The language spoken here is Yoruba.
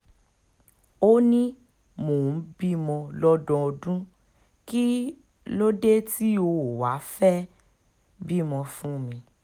ó ní mò ń bímọ lọ́dọọdún kí um ló dé tí o ò wáá fẹ́ẹ́ um bímọ fún mi